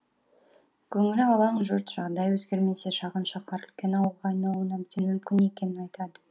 көңілі алаң жұрт жағдай өзгермесе шағын шаһар үлкен ауылға айналуы әбден мүмкін екенін айтады